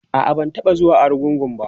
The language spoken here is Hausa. a'a ban taɓa zuwa argungu ba